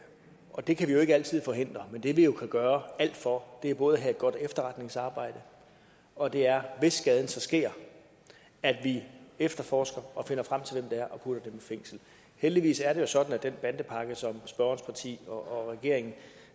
og det kan vi jo ikke altid forhindre men det vi jo kan gøre alt for er både at have et godt efterretningsarbejde og det er hvis skaden så sker at vi efterforsker og finder frem til hvem det er og putter dem i fængsel heldigvis er det jo sådan at den bandepakke som spørgerens parti og regeringen